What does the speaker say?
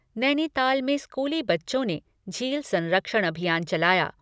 नैनीताल में स्कूली बच्चों ने झील संरक्षण अभियान चलाया।